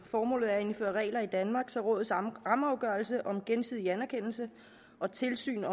formålet er at indføre regler i danmark så rådets rammeafgørelse om gensidig anerkendelse og tilsyn